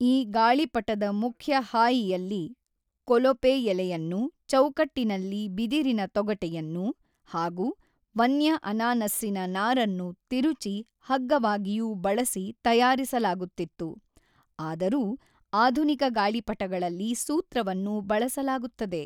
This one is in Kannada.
ಈ ಗಾಳಿಪಟದ ಮುಖ್ಯ ಹಾಯಿಯಲ್ಲಿ ಕೊಲೊಪೆ ಎಲೆಯನ್ನು , ಚೌಕಟ್ಟಿನಲ್ಲಿ ಬಿದಿರಿನ ತೊಗಟೆಯನ್ನು, ಹಾಗೂ ವನ್ಯ ಅನಾನಸ್ಸಿನ ನಾರನ್ನು ತಿರುಚಿ ಹಗ್ಗವಾಗಿಯೂ ಬಳಸಿ ತಯಾರಿಸಲಾಗುತ್ತಿತ್ತು, ಆದರೂ, ಆಧುನಿಕ ಗಾಳಿಪಟಗಳಲ್ಲಿ ಸೂತ್ರವನ್ನು ಬಳಸಲಾಗುತ್ತದೆ.